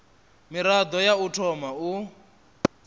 mirado ya u thoma u